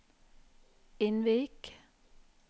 Innvik